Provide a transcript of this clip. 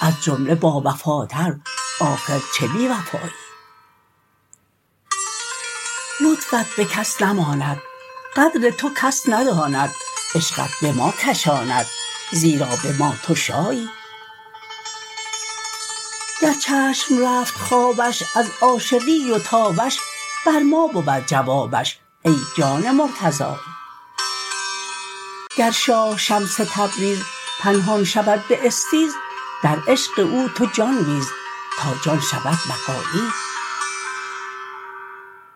از جمله باوفاتر آخر چه بی وفایی لطفت به کس نماند قدر تو کس نداند عشقت به ما کشاند زیرا به ما تو شایی گر چشم رفت خوابش از عاشقی و تابش بر ما بود جوابش ای جان مرتضایی گر شاه شمس تبریز پنهان شود به استیز در عشق او تو جان بیز تا جان شوی بقایی